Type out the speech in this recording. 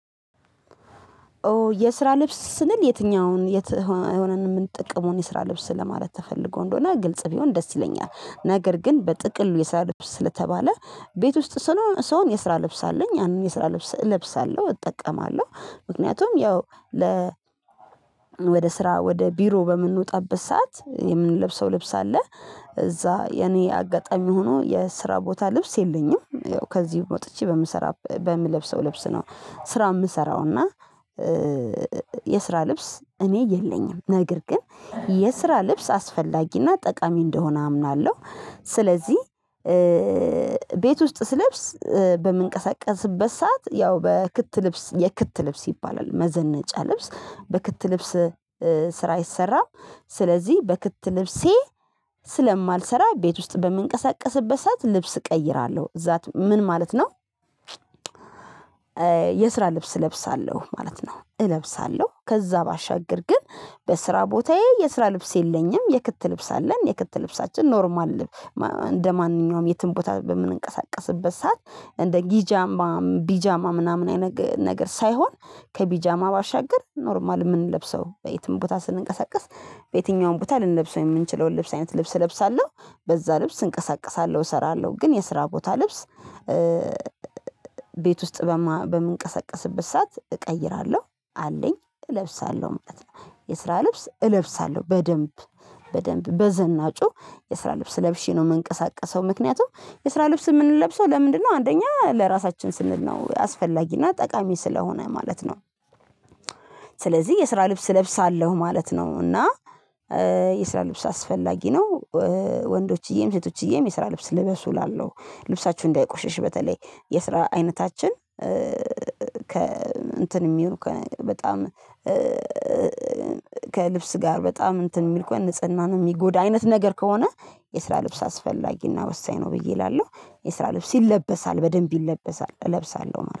የስራ ልብስ ስንል የትኛውን የት ሆነን የምንጠቀመውን የስራ ልብስ ለማለት ተፈልጎ እንደሆነ ግልጽ ቢሆን ደስ ይለኛል። ነገር ግን በጥቅሉ የስራ ልብስ ስለተባለ ቤት ውስጥ ስሆን የስራ ልብስ አለኝ ያንን የስራ ልብስ እለብሳለሁ እጠቀማለሁ ምክንያቱም ያው ወደ ስራ ወደ ቢሮ በምንወጣበት ሰዓት የምንለብሰው ልብስ አለ እዛ የኔ አጋጣሚ ሆኖ የስራ ቦታ ልብስ የለኝም ያው ከዚህ ወጥቼ በምሰራ በምለብሰው ልብስ ነው ስራ የምሰራው እና የስራ ልብስ እኔ የለኝም ነገር ግን የስራ ልብስ አስፈላጊና ጠቃሚ እንደሆነ አምናለሁ። ስለዚህ ቤት ውስጥ ስለብስ በምንቀሳቀስበት ሰዓት ያው በክት ልብስ የክት ልብስ ይባላል መዘነጫ ልብስ በክት ልብስ ስራ ይሰራል። ስለዚህ በክት ልብሴ ስለማልሰራ ቤት ውስጥ በምንቀሳቀስበት ሰዓት ልብስ እቀይራለሁ እዛት ምን ማለት ነው? የስራ ልብስ እለብሳለሁ ማለት ነው። እለብሳለሁ ከዛ ባሻግር ግን በስራ ቦታዬ የስራ ልብስ የለኝም የክት ልብስ አለኝ የክት ልብሳችን ኖርማል። እንደማንኛውም የትም ቦታ በምንንቀሳቀስበት ሰዓት እንደ ጊጃማ ቢጃማ ምናምን አይነት ነገር ሳይሆን ከቢጃማ ባሻገር ኖርማል የምንለብሰው በየትም ቦታ ስንንቀሳቀስ በየትኛውም ቦታ ልንለብሰው የምንችለውን ልብስ አይነት ልብስ እለብሳለሁ በዛ ልብስ እንቀሳቀሳለሁ እሰራለሁ። ግን የስራ ቦታ ልብስ ቤት ውስጥ በምንቀሳቀስበት ሰዓት እቀይራለሁ አለኝ እለብሳለሁ ማለት ነው። የስራ ልብስ እለብሳለሁ በደንብ በደንብ በዘናጩ የስራ ልብስ ለብሼ ነው የምንቀሳቀሰው ምክንያቱም የስራ ልብስ የምንለብሰው ለምንድነው አንደኛ ለራሳችን ስንል ነው አስፈላጊና ጠቃሚ ስለሆነ ማለት ነው? ስለዚህ የስራ ልብስ እለብሳለሁ ማለት ነው እና የስራ ልብስ አስፈላጊ ነው። ወንዶችዬም ሴቶችዬም የስራ ልብስ ልበሱ እላለሁ ልብሳችሁ እንዳይቆሸሽ በተለይ የስራ አይነታችን ከ እንትን የሚሉ ከበጣም ከልብስ ጋር በጣም እንትን የሚል ከሆነ ንጽህና ነው የሚጎዳ አይነት ነገር ከሆነ የስራ ልብስ አስፈላጊና ወሳኝ ነው ብዬ እላለሁ። የስራ ልብስ ይለበሳል በደንብ ይለበሳል እለብሳለሁ ማለት ነው